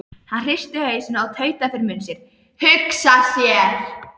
Hann hristi hausinn og tautaði fyrir munni sér: Hugsa sér.